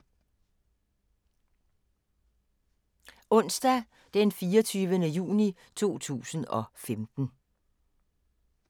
Onsdag d. 24. juni 2015